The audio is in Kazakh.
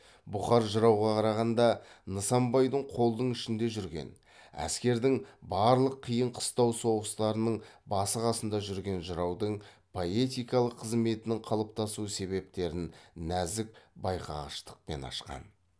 бұқар жырауға қарағанда нысанбайдың қолдың ішінде жүрген әскердің барлық қиын қыстау соғыстарының басы қасында жүрген жыраудың поэтикалық қызметінің қалыптасу себептерін нәзік байқағыштықпен ашқан